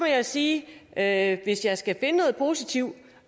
jeg sige at hvis jeg skal finde noget positivt